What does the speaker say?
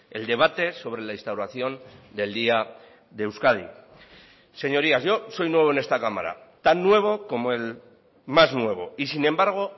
el debate sobre la instauración del día de euskadi señorías yo soy nuevo en esta cámara tan nuevo como el más nuevo y sin embargo